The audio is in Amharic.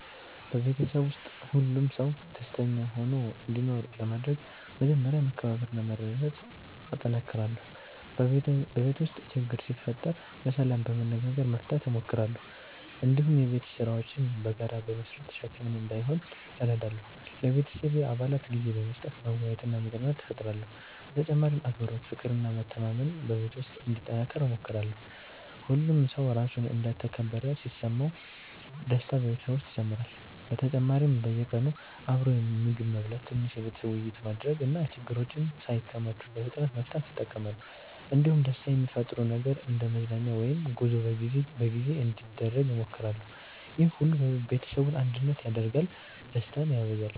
በቤተሰቤ ውስጥ ሁሉም ሰው ደስተኛ ሆኖ እንዲኖር ለማድረግ መጀመሪያ መከባበርና መረዳዳት እጠነክራለሁ። በቤት ውስጥ ችግር ሲፈጠር በሰላም በመነጋገር መፍታት እሞክራለሁ። እንዲሁም የቤት ስራዎችን በጋራ በመስራት ሸክም እንዳይሆን እረዳለሁ። ለቤተሰቤ አባላት ጊዜ በመስጠት መወያየትና መዝናናት እፈጥራለሁ። በተጨማሪም አክብሮት፣ ፍቅር እና መተማመን በቤት ውስጥ እንዲጠናከር እሞክራለሁ። ሁሉም ሰው ራሱን እንደ ተከበረ ሲሰማ ደስታ በቤተሰብ ውስጥ ይጨምራል። በተጨማሪም በየቀኑ አብሮ ምግብ መብላት፣ ትንሽ የቤተሰብ ውይይት ማድረግ እና ችግሮችን ሳይከማቹ በፍጥነት መፍታት እጠቀማለሁ። እንዲሁም ደስታ የሚፈጥር ነገር እንደ መዝናኛ ወይም ጉዞ በጊዜ በጊዜ እንዲደረግ እሞክራለሁ። ይህ ሁሉ ቤተሰቡን አንድነት ያደርጋል እና ደስታን ያበዛል።